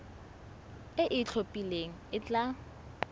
e e itlhophileng e tla